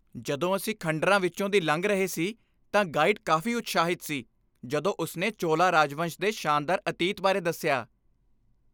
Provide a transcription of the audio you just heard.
ਜਦੋਂ ਅਸੀਂ ਖੰਡਰਾਂ ਵਿੱਚੋਂ ਦੀ ਲੰਘ ਰਹੇ ਸੀ ਤਾਂ ਗਾਈਡ ਕਾਫ਼ੀ ਉਤਸ਼ਾਹਿਤ ਸੀ ਜਦੋਂ ਉਸਨੇ ਚੋਲਾ ਰਾਜਵੰਸ਼ ਦੇ ਸ਼ਾਨਦਾਰ ਅਤੀਤ ਬਾਰੇ ਦੱਸਿਆ।